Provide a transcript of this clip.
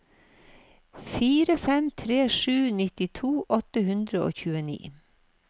fire fem tre sju nittito åtte hundre og tjueni